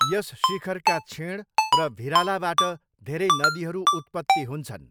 यस शिखरका छेँड र भिरालाबाट धेरै नदीहरू उत्पत्ति हुन्छन्।